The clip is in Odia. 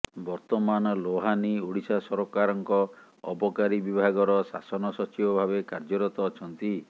ବର୍ତ୍ତମାନ ଲୋହାନୀ ଓଡ଼ିଶା ସରକାରଙ୍କ ଅବକାରୀ ବିଭାଗର ଶାସନ ସଚିବ ଭାବେ କାର୍ଯ୍ୟରତ ଅଛନ୍ତି